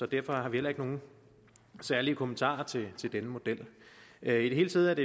derfor har vi heller ikke nogen særlige kommentarer til denne model det er i det hele taget